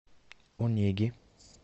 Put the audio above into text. онеги